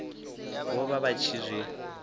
vho vha vha tshi zwi